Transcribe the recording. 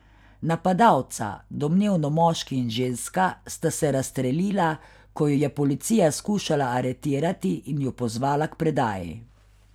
Napadalca, domnevno moški in ženska, sta se razstrelila, ko ju je policija skušala aretirati in ju pozvala k predaji.